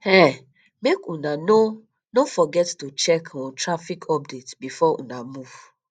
um make una no no forget to check um traffic update before una move